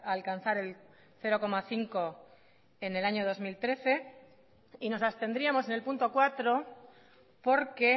alcanzar el cero coma cinco en el año dos mil trece y nos abstendríamos en el punto cuatro porque